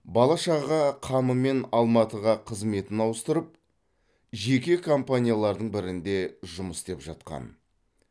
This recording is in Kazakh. бала шаға қамымен алматыға қызметін ауыстырып жеке компаниялардың бірінде жұмыс істеп жатқан